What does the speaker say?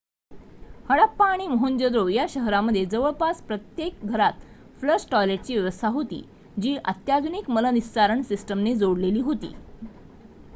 हडप्पा आणि मोहेंजो-दारो या शहरांमध्ये जवळजवळ प्रत्येक घरात फ्लश टॉयलेटची व्यवस्था होती जी अत्याधुनिक मलनिस्सारण सिस्टमने जोडलेली होती